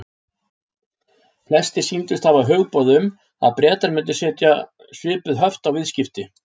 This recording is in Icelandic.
Flestir sýndust hafa hugboð um, að Bretar myndu setja svipuð höft á viðskipti